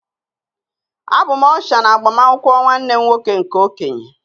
Abụ m Ọsha na agbamakwụkwọ nwanne m nwoke nke okenye